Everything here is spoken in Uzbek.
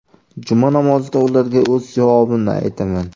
Juma namozida ularga o‘z javobimni aytaman.